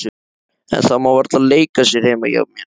En það má varla leika sér heima hjá henni.